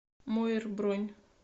моер бронь